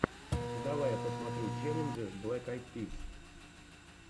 давай я посмотрю челленджи блэк айд пис